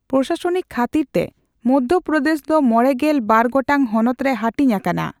ᱯᱨᱚᱥᱟᱥᱚᱱᱤᱠ ᱠᱷᱟᱛᱤᱨᱛᱮ ᱢᱚᱫᱽᱫᱷᱚᱯᱨᱚᱫᱮᱥ ᱫᱚ ᱢᱚᱲᱮᱜᱮᱞ ᱵᱟᱨ ᱜᱚᱴᱟᱝ ᱦᱚᱱᱚᱛ ᱨᱮ ᱦᱟᱹᱴᱤᱧ ᱟᱠᱟᱱᱟ ᱾